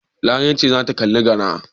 Larai ce za ta kalli gara.